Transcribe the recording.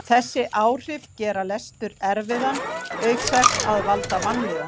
Þessi áhrif gera lestur erfiðan auk þess að valda vanlíðan.